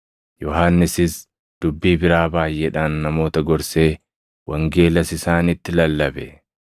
Yohannisis dubbii biraa baayʼeedhaan namoota gorsee wangeelas isaanitti lallabe.